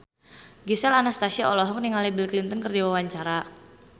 Gisel Anastasia olohok ningali Bill Clinton keur diwawancara